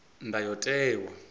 ndayotewa